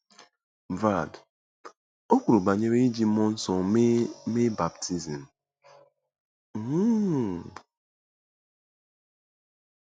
Brad: O kwuru banyere iji mmụọ nsọ mee mee baptizim um.